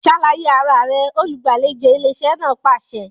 Ṣàlàyé ara rẹ! olùgbàlejò ilé iṣẹ́ náà pàṣẹ